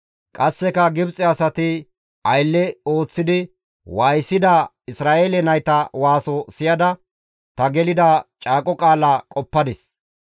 Qasseka Gibxe asay aylle histti waayisida Isra7eele nayta waaso siyada ta gelida caaqo qaala qoppadis.